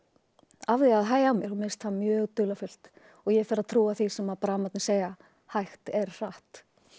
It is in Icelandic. af því að hægja á mér og mér finnst það mjög dularfullt og ég fer að trúa því sem segja hægt er hratt